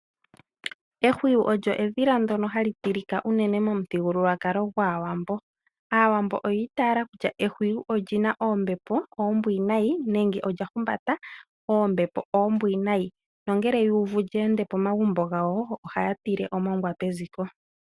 Ehwiyi olyo edhila ndyono hali tilika unene momuthigululwakalo gwAawambo. Aawambo oyi itaala kutya ehwiyi oli na oombepo oombwinayi nenge olya humbata oombepo oombwinayi nongele ye li uvu ta li ende pomagumbo gawo oha ya tile omongwa peziko.